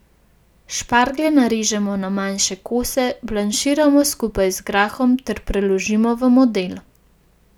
Šparglje narežemo na manjše kose, blanširamo skupaj z grahom ter preložimo v model.